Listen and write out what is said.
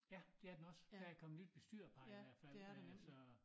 Ja det er den også der er kommet nyt bestyrerpar i hvert fald men altså